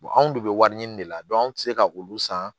anw de bɛ wari ɲini de la an tɛ se ka olu san